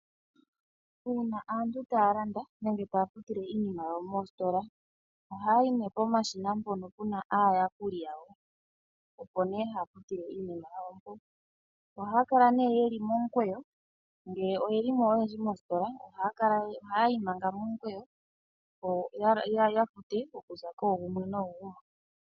Uuna aantu taya landa nenge taya futile iinima yawo moositola, ohayayi nee pomashina mpono pena aayakuli opo nee haya futile iinima yawo mpoka. Ohaya kala nee yeli momukweyo ngele oyelimo oyendji mositola ohayi manga momukweyo opo yafute okuza koogumwe noogumwe.